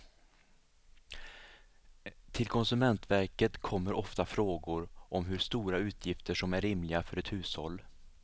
Till konsumentverket kommer ofta frågor om hur stora utgifter som är rimliga för ett hushåll.